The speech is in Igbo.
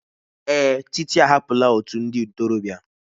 Èè, Títí ahapụla òtù ndị ntorobịa.